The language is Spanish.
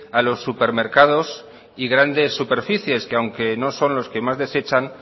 a los supermercados y grandes superficies que aunque no son los que más desechan